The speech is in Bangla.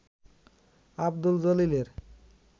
আবদুল জলিলের